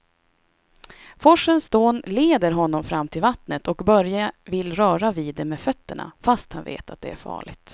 Forsens dån leder honom fram till vattnet och Börje vill röra vid det med fötterna, fast han vet att det är farligt.